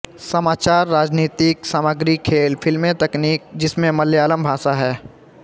समाचार राजनीतिक सामग्री खेल फिल्में तकनीक जिसमें मलयालम भाषा है